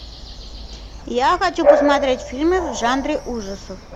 я хочу посмотреть фильмы в жанре ужасов